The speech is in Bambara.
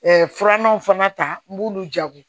filananw fana ta n b'olu jago